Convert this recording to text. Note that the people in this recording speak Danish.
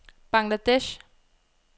Bangladesh